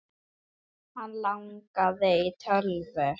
Hann langaði í tölvu.